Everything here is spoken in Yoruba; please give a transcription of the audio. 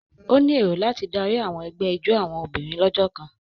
O ní èrò láti Dari àwọn egbé ijó àwọn obìnrin lójó kàn.